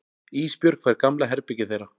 Ísbjörg fær gamla herbergið þeirra.